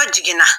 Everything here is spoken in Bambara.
A jiginna